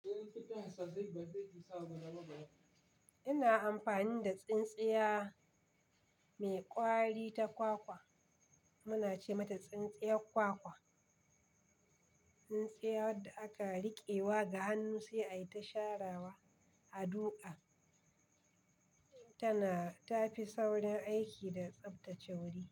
Ina amfani da tsintsiya mai ƙwari ta kwakwa, muna ce mata tsintsiyar kwakwa. Tsintsiya wadda aka riƙewa ga hannu sai a yi ta sharawa a ɗuƙa. Tana ta fi saurin aiki da tsaftace wuri.